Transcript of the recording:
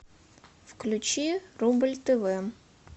включи рубль тв